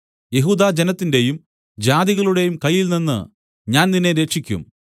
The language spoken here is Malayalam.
യഹൂദാജനത്തിന്റെയും ജാതികളുടെയും കയ്യിൽനിന്ന് ഞാൻ നിന്നെ രക്ഷിക്കും